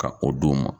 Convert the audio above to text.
Ka o d'u ma